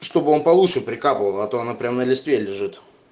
чтобы он получше прикапывал а то она прямо на листе лежит